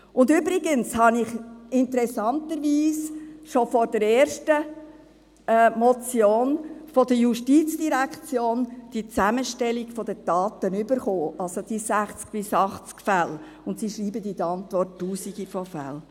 Und übrigens habe ich die Zusammenstellung dieser Daten interessanterweise schon vor der ersten Motion von der JGK erhalten, also diese 60 bis 80 Fälle, und sie schreiben in der Antwort Tausende von Fällen.